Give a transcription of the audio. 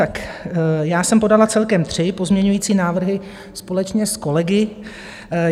Tak já jsem podala celkem tři pozměňovací návrhy společně s kolegy.